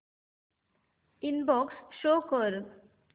inbox show कर